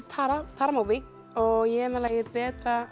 Tara Mobee og ég er með lagið betri